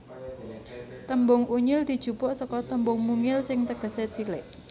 Tembung Unyil dijupuk seka tembung mungil sing tegesé cilik